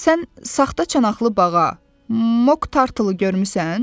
Sən saxta çanaqlı bağa, Moq Tartlı görmüsən?